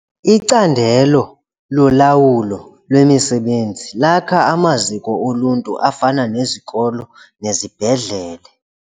Icandelo lolawulo lwemisebenzi lakha amaziko oluntu afana nezikolo nezibhedlele.